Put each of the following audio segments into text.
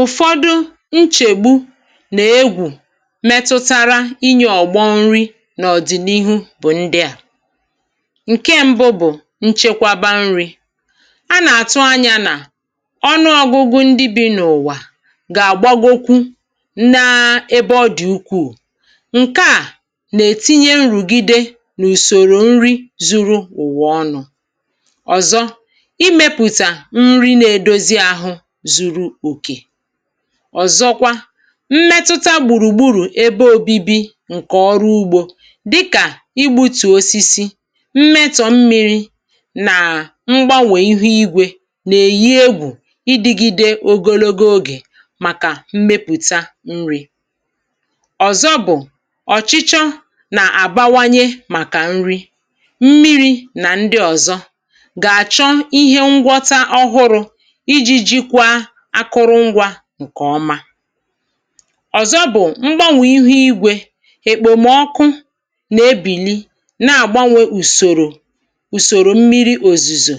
Ụfọdụ nchègbu nà-egwù metụtara inye ọ̀gbọ nri n’ọ̀dị̀nihu bụ̀ ndị à. Nke mbụ bụ̀ nchekwaba nri̇. A nà-àtụ anyȧ nà ọnụọ̇gụ̇gụ̇ ndị bi̇ n’ụ̀wà gà-àgbagokwu na ebe ọ dị̀ ukwuù. Nke à nà-ètinye nrùgide n’ùsòrò nri zuru ụ̀wà ọnụ̇. Ọzọ, ịmepụta nri na-edozi ahụ zuru okè. Ọzọkwa, mmetuta gbùrùgburù ebe obibi ǹkè ọrụ ugbȯ dịkà igbutù osisi, mmetọ mmi̇ri, nà mgbanwè ihu igwė nà-èyi egwù idigide ogologo ogè màkà mmepùta nri. Ọzọ bụ̀, ọ̀chịchọ nà-àbawanye màkà nri, mmiri̇ nà ndị ọ̀zọ, ga achọ ihe ngwọta ọhụrụ, iji jikwa akụrụ ngwa ǹkè ọma. Ọzọ bụ̀, mgbanwè ihu igwė, ekpòmọkụ na ebìli na àgbanwe ùsòrò, ùsòrò mmiri òzùzò,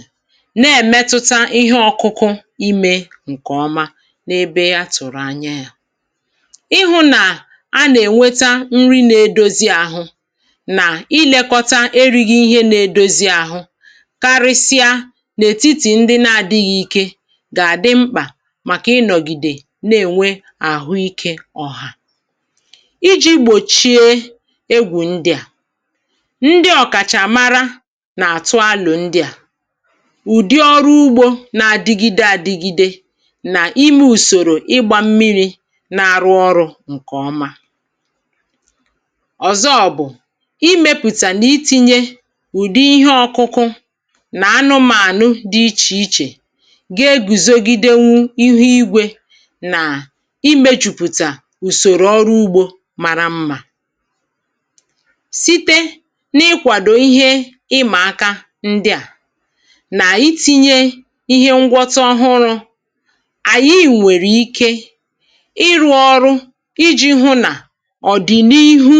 na èmetuta ihe ọ̇kụ̇kụ̇ imė ǹkè ọma n’ebe atụ̀rụ̀ anya yȧ. Ịhụ̇ nà a nà ènweta nri nà-edozi àhụ, nà ilėkọta erighi ihe nà-edozi àhụ, karịsịa n’ètitì ndị na àdịghị ike, ga adị mkpa maka ịnọgide na-ènwe àhụikė ọ̀hà. Iji̇ gbòchie egwù ndị à, ndị ọ̀kàchà mara nà àtụ alụ̀ ndị à, ùdi ọrụ ugbȯ na-adigide adịgide nà ime ùsòrò ịgbȧ mmiri̇ na-arụ ọrụ̇ ǹkè ọma. Ọzọ bụ̀, imepùta n’itinye ùdi ihe ọkụkụ nà anụmànụ dị ichè ichè, ga eguzogide wu ihu igwe, nà imėchùpùtà ùsòrò ọrụ ugbȯ mara mmà. Site n’ịkwàdò ihe ịmà aka ndị à, nà ịtinye ihe ngwọta ọhụrụ̇, ànyị nwèrè ike ịrụ̇ ọrụ iji̇ hụ nà ọ̀ dị̀ n’ihu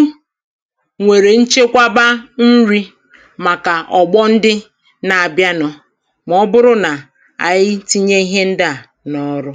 nwèrè nchekwaba nri̇ màkà ọ̀gbọndị na-abịa nụ, mà ọ bụrụ nà ànyị tinye ihe ndị à na ọrụ.